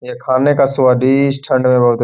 ये खाने का स्वादिष्ट --